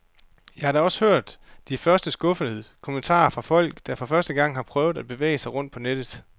Jeg har da også hørt de første skuffede kommentarer fra folk, der for første gang har prøvet at bevæge sig rundt på nettet.